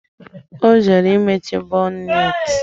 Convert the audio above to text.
Ọ jere imechi bonneti